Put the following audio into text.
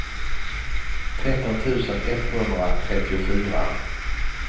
tretton tusen etthundratrettiofyra